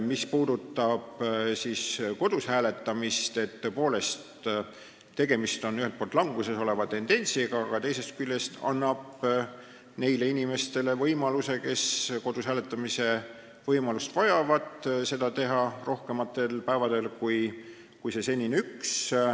Mis puudutab kodus hääletamist, siis tõepoolest, ühelt poolt on tegemist languses oleva tendentsiga, aga teisest küljest tehakse neile inimestele, kes kodus hääletamise võimalust vajavad, nüüd võimalikuks teha seda rohkematel päevadel kui see senine üks.